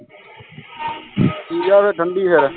pizza ਫੇਰ ਠੰਡੀ ਫੇਰ